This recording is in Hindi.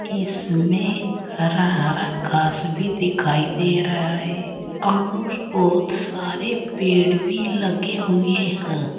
इसमें हरा हरा घास भी दिखाई दे रहा है और बहुत सारे पेड़ भी लगे हुए हैं।